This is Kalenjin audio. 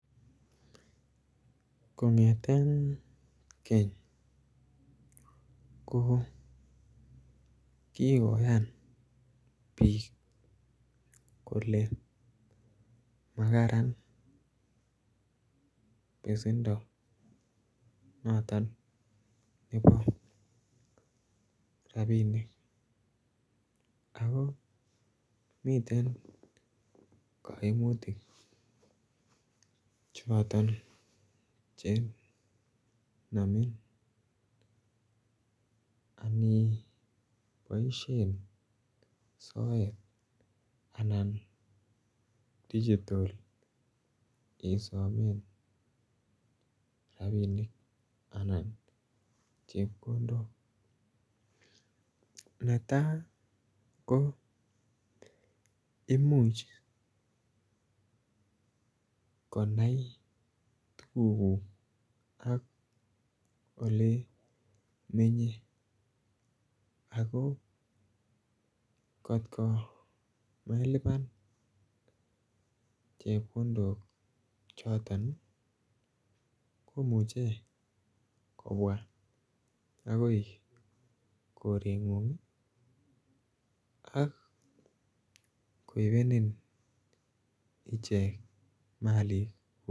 Kongeten keny ko kigoyan biik kole makaran besendo noton nebo rabinik ako miten koimutik choton che nomin ani boishen soet anan digital isomen rabinik anan chepkondok. Netaa imuch konai tuguk ak ole imenye ako kot ko melipan chepkondok choton komuche kobwa baka korengung ii ak koibenin ichek malik